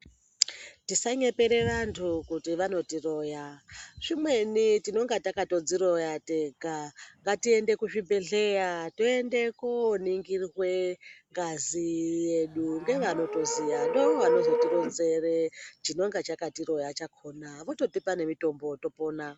Tisanyepere vantu kuti vanotiroya ,zvimweni tinonga takatodziroya tega ngatiende kuzvibhedhleya tiende koningirwe ngazi yedu ngevanotoziya. Ndivo vanozotironzere chinonga chakatiroya chakona vototipa mutombo topona.